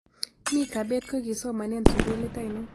Mika bett kokisomanen sukulit ainon